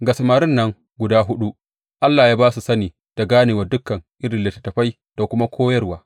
Ga samarin nan guda huɗu Allah ya ba su sani da ganewar dukan irin littattafai da kuma koyarwa.